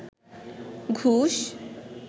ঘুষ